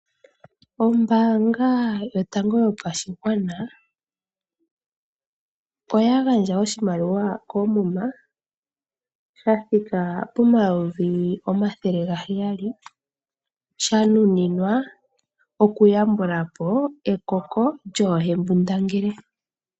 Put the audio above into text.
Ombaanga yotango yopashigwana oyagandja oshimaliwa koomuma shathika pomayovi omathele gaheyali sha nuninwa oku yambulapo ekoko lyoohembundangele.